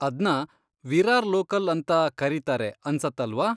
ಅದ್ನ ವಿರಾರ್ ಲೋಕಲ್ ಅಂತಾ ಕರೀತಾರೆ ಅನ್ಸತ್ತಲ್ವಾ.